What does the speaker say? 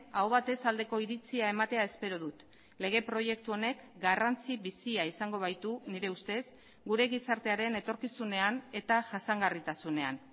aho batez aldeko iritzia ematea espero dut lege proiektu honek garrantzi bizia izango baitu nire ustez gure gizartearen etorkizunean eta jasangarritasunean